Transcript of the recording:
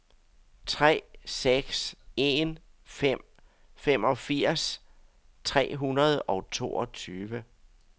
tre seks en fem femogfirs tre hundrede og toogtyve